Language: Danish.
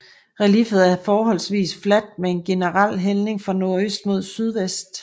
Relieffet er forholdsvist fladt med en generel hældning fra nordøst mod sydvest